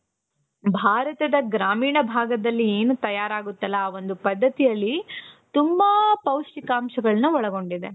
ಭಾರತದ ಗ್ರಾಮೀಣ ಭಾಗದಲ್ಲಿ ಏನು ತಯಾರಾಗುತ್ತಲ್ಲಾ ಆ ಒಂದು ಪದ್ಧತಿಯಲ್ಲಿ ತುಂಬಾ ಪೌಷ್ಟಿಕಾಂಶಗಳನ್ನ ಒಳಗೊಂಡಿದೆ .